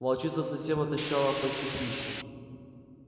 волчица совсем отощала в поисках пищи